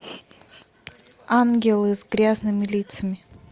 ангелы с грязными лицами